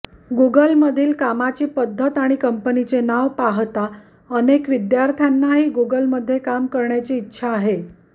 गूगलमधील कामाची पद्धत आणि कंपनीचे नाव पहाता अनेका विद्यार्थ्यांनाही गूगलमध्ये काम करण्याची इच्छा आहे